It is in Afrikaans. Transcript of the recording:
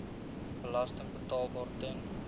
belasting betaalbaar ten